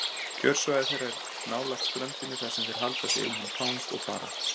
Kjörsvæði þeirra er nálægt ströndinni þar sem þeir halda sig innan um þang og þara.